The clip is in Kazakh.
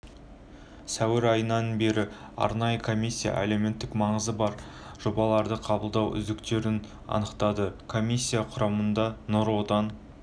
сәуір айынан бері арнайы комиссия әлеуметтік маңызы бар жобаларды қабылдап үздіктерін анықтады комиссия құрамында нұр отан